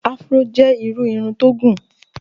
Afuró jẹ́ irú irun tó gùn.